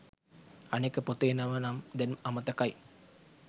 අනෙක පොතේ නම නම් දැන් අමතකයි